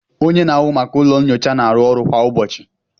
onye na-ahụ maka ụlọ nyocha na-arụ ọrụ kwa ụbọchị